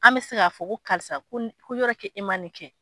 An bɛ se k'a fɔ ko karisa ko yɔrɔ kɛ e ma nin kɛ.